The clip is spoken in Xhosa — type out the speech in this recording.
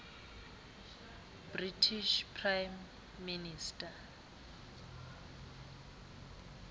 british prime minister